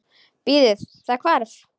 Bíðiði, það hvarf.